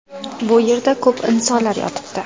Bu yerda ko‘p insonlar yotibdi.